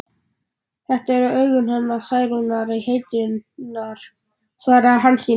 Þetta eru augun hennar Særúnar heitinnar, svaraði Hansína.